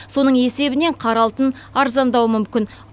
соның есебінен қара алтын арзандауы мүмкін